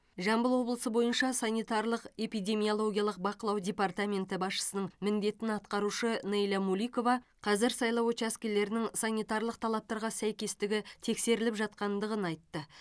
жамбыл облысы бойынша санитарлық эпидемиологиялық бақылау департаменті басшысының міндетін атқарушы нейля муликова қазір сайлау учаскелерінің санитарлық талаптарға сәйкестігі тексеріліп жатқандығын айтты